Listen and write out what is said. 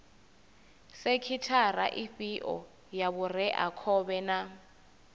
sekhithara ifhio ya vhureakhovhe na